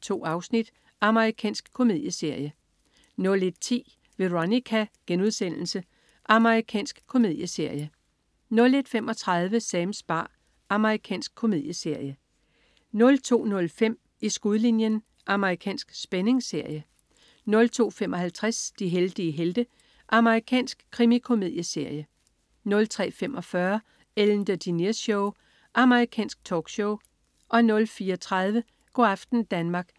2 afsnit. Amerikansk komedieserie 01.10 Veronica.* Amerikansk komedieserie 01.35 Sams bar. Amerikansk komedieserie 02.05 I skudlinjen. Amerikansk spændingsserie 02.55 De heldige helte. Amerikansk krimikomedieserie 03.45 Ellen DeGeneres Show. Amerikansk talkshow 04.30 Go' aften Danmark*